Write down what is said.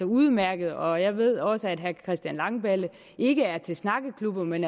udmærket og jeg ved også at herre christian langballe ikke er til snakkeklubber men